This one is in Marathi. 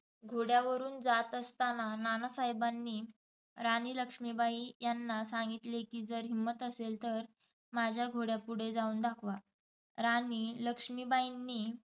घोड्यावरून जात असताना नानासाहेबांनी राणी लक्ष्मीबाई यांना सांगितले की जर हिंमत असेल तर माझ्या घोड्यापुढे जाऊन दाखव. राणी लक्ष्मीबाईंनी